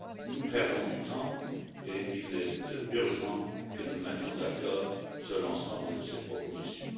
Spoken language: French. Nous perdons du temps et il est urgent que nous nous mettions d'accord sur l'ensemble de ces propositions.